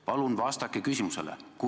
Palun vastake küsimusele!